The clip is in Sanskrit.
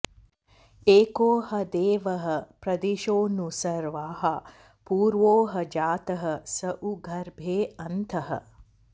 एको ह देवः प्रदिशो नु सर्वाः पूर्वो ह जातः स उ गर्भे अन्तः